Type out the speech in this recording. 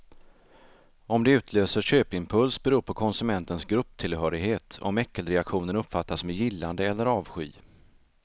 Om det utlöser köpimpuls beror på konsumentens grupptillhörighet, om äckelreaktionen uppfattas med gillande eller avsky.